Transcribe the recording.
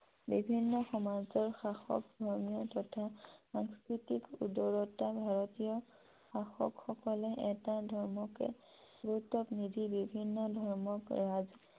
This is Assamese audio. বিভিন্ন সমাজৰ শাসক, ধৰ্মীয় তথা সাংস্কৃতিক উদাৰতা ভাৰতীয় শাসকসকলে এটা ধৰ্মকে গুৰুত্ব নিদি বিভিন্ন ধৰ্মক